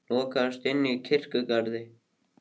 Lokaðist inni í kirkjugarði